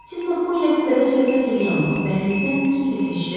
Siz Makkuu ilə kupədə söhbət eləyən vaxt dəhlizdən kimsə keçdi?